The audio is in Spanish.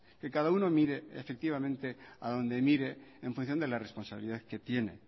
que cada uno mire efectivamente a donde mire en función de la responsabilidad que tiene